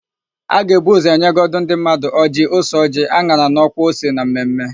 A ga-ebu ụzọ nyegodu ndị mmadụ ọjịị, ose ọjịị, an̄ara na ọkwa ose na mmemme.